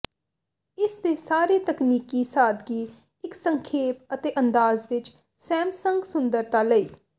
ਇਸ ਦੇ ਸਾਰੇ ਤਕਨੀਕੀ ਸਾਦਗੀ ਇੱਕ ਸੰਖੇਪ ਅਤੇ ਅੰਦਾਜ਼ ਵਿੱਚ ਸੈਮਸੰਗ ਸੁੰਦਰਤਾ ਲਈ